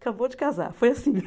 Acabou de casar, foi assim.